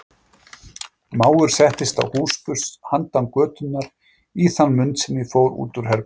Mávur settist á húsburst handan götunnar í þann mund sem ég fór út úr herberginu.